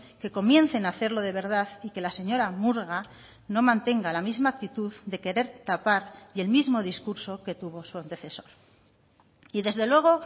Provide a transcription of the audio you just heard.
que comiencen a hacerlo de verdad y que la señora murga no mantenga la misma actitud de querer tapar y el mismo discurso que tuvo su antecesor y desde luego